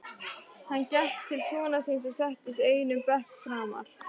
Hann gekk til sonar síns og settist einum bekk framar.